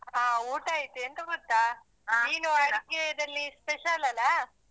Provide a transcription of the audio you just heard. ಹಾ ಊಟ ಆಯ್ತು, ಎಂತ ಗೊತ್ತ ನೀನು ಅಡುಗೆಯದ್ದಲ್ಲಿ special ಅಲ್ಲ.